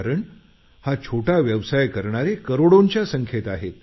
कारण हा छोटा व्यवसाय करणारे करोंडोंच्या संख्येत आहेत